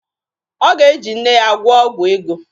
Ọ ga-eji nne ya gwụọ ọgwụ ego.